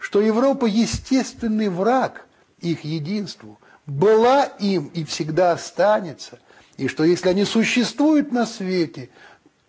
что европа естественный враг их единству была им и всегда останется и что если они существуют на свете